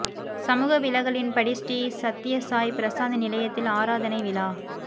சமூக விலகலின்படி ஸ்ரீ சத்ய சாய் பிரசாந்தி நிலையத்தில் ஆராதனை விழா